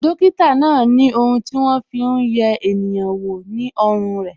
Dókítà náà ni ohun ti won Fi hun ye eniyan wo ní ọrùn re